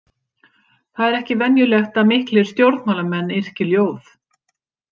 Það er ekki venjulegt að miklir stjórnmálamenn yrki ljóð.